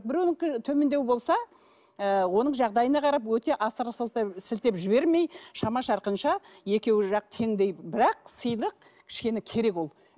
біреуінікі төмендеу болса ы оның жағдайына қарап өте асыра сілтеп жібермей шама шарқынша екеуі жақ теңдей бірақ сыйлық кішкене керек ол